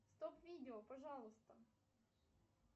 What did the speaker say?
стоп видео пожалуйста